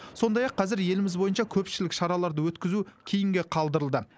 сондай ақ қазір еліміз бойынша көпшілік шараларды өткізу кейінге қалдырылды